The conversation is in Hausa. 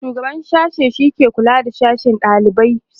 shugaban sashe shike kulawa da sashe da daliban sashe